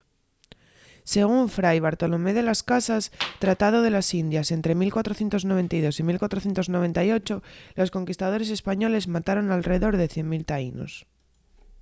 según fray bartolomé de las casas tratado de las indias ente 1492 y 1498 los conquistadores españoles mataron alredor de 100,000 taínos